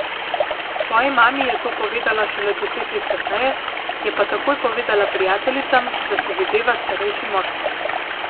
Svoji mami je to povedala šele deset let kasneje, je pa takoj povedala prijateljicam, da se videva s starejšim moškim.